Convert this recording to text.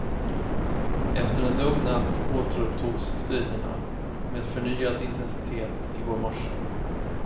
Efter en lugn natt återupptogs striderna med förnyad intensitet i går morse.